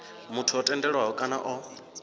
muthu o tendelwaho kana o